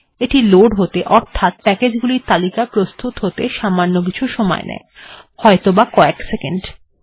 এটি লোড্ হতে অর্থাৎ প্যাকেজগুলির তালিকা প্রস্তুত হতে সামান্য কিছু সময় নেয় হয়ত বা কয়েক সেকেন্ড